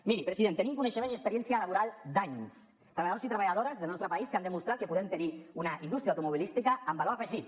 miri president tenim coneixement i experiència laboral d’anys treballadors i treballadores del nostre país que han demostrat que podem tenir una indústria automobilística amb valor afegit